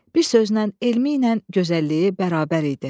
Bir sözlə elmi ilə gözəlliyi bərabər idi.